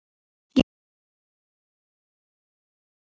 Ég ætla það ennþá.